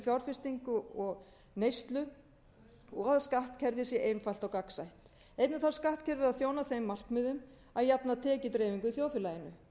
fjárfestingu og neyslu og skattkerfið sé einfalt og gagnsætt einnig þarf skattkerfið að þjóna þeim markmiðum að jafna tekjudreifingu í þjóðfélaginu